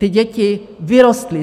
Ty děti vyrostly.